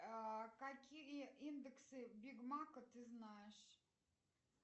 какие индексы бигмака ты знаешь